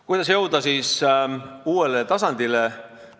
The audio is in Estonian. Kuidas siis uuele tasandile jõuda?